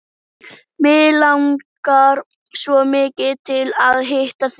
Mig langar svo mikið til að hitta þig.